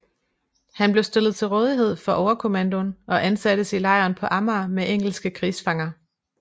Han blev stillet til rådighed for overkommandoen og ansattes i lejren på Amager med engelske krigsfanger